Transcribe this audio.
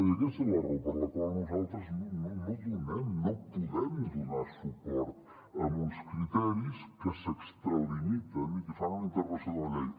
i aquesta és la raó per la qual nosaltres no donem no podem donar suport a uns criteris que s’extralimiten i que fan una interpretació de la llei